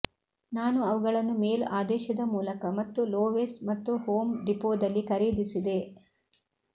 ನಾನು ಅವುಗಳನ್ನು ಮೇಲ್ ಆದೇಶದ ಮೂಲಕ ಮತ್ತು ಲೋವೆಸ್ ಮತ್ತು ಹೋಮ್ ಡಿಪೋದಲ್ಲಿ ಖರೀದಿಸಿದೆ